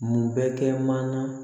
Mun bɛ kɛ mana